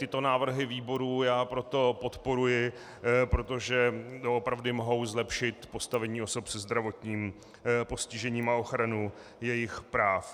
Tyto návrhy výborů já proto podporuji, protože doopravdy mohou zlepšit postavení osob se zdravotním postižením a ochranu jejich práv.